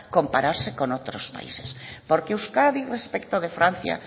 compararse con otros países porque euskadi respecto de francia